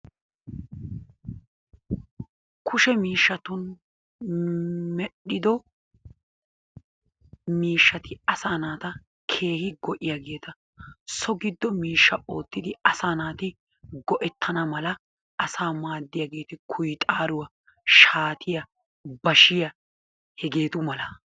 Kushee mishatun medhido mishati asanattaa kehi go'iyagetta so giddo mishaa ottidi asaa naatti go'ettianna mala asaa madiyagetti, kuyxaruwaa, shattiyaa, bashiyaanne hegetu mala.